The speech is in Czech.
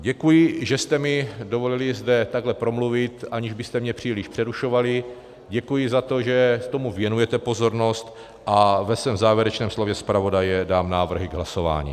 Děkuji, že jste mi dovolili zde takhle promluvit, aniž byste mě příliš přerušovali, děkuji za to, že tomu věnujete pozornost, a ve svém závěrečném slově zpravodaje dám návrhy k hlasování.